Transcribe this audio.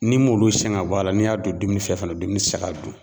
N'i m'olu siyɛn ka bɔ a la n'i y'a don dumuni fɛ fana dumuni tɛ se ka dun.